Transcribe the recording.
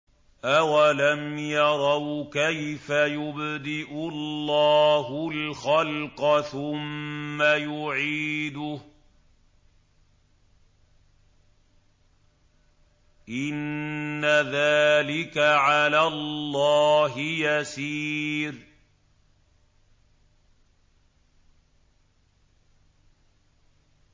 أَوَلَمْ يَرَوْا كَيْفَ يُبْدِئُ اللَّهُ الْخَلْقَ ثُمَّ يُعِيدُهُ ۚ إِنَّ ذَٰلِكَ عَلَى اللَّهِ يَسِيرٌ